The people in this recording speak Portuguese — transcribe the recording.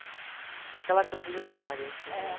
É aquela coisa de memória, entendeu?